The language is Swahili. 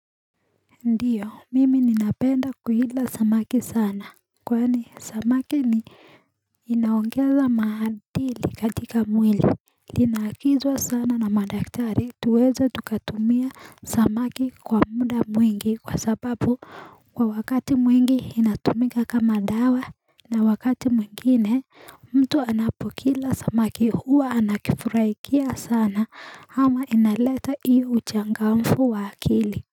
Ndiyo mimi ninapenda kuila samaki sana Kwani samaki ni inaongeza maadili katika mwili Linaagizwa sana na madaktari tuweza tukatumie samaki kwa muda mwingi kwa sababu kwa wakati mwingi inatumika kama dawa na wakati mwingine mtu anapokila samaki huwa anakifurahia sana ama inaleta hiyo uchangamfu wa akili.